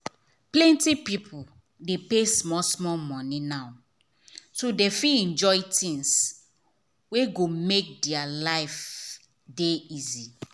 plenty people dey pay small small money now so dem fit enjoy things wey go make their life dey easy.